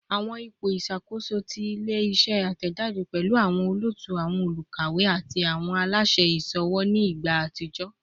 Awọn ipo iṣakoso ti ile-iṣẹ atẹjade pẹlu awọn olootu, awọn olukawe, ati awọn alaṣẹ iṣowo ni igba atijọ